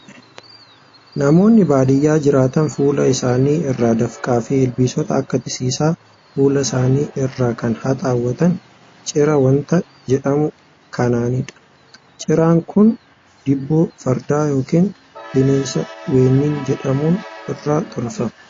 Namoonni baadiyaa jiraatan fuula isaanii irraa dafqaa fi ilbiisota akka titiisaa fuula isaanii irraa kan haxaawwatan ciraa waanta jedhamu kanaanidha. Ciraan kun diboo fardaa yookiin bineensa weennii jedhamu irraa tolfama.